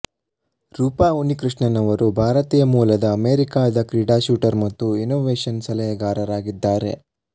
ರೂಪಾ ಉನ್ನಿಕೃಷ್ಣನ್ ಅವರು ಭಾರತೀಯ ಮೂಲದ ಅಮೆರಿಕಾದ ಕ್ರೀಡಾ ಶೂಟರ್ ಮತ್ತು ಇನ್ನೋವೇಶನ್ ಸಲಹೆಗಾರರಾಗಿದ್ದಾರೆ